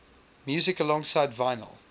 music alongside vinyl